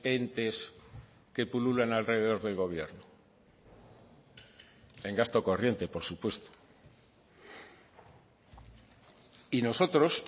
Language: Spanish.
entes que pululan alrededor del gobierno en gasto corriente por supuesto y nosotros